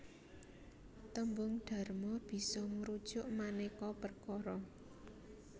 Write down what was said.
Tembung dharma bisa ngrujuk manéka perkara